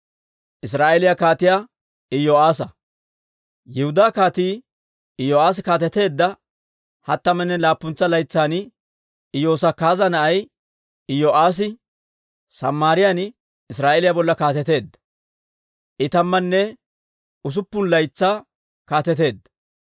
Yihudaa Kaatii Iyo'aassi kaateteedda hattamanne laappuntsa laytsan, Iyosakaaza na'ay Iyo'aassi Samaariyaan Israa'eeliyaa bolla kaateteedda; I tammanne usuppun laytsaa kaateteedda.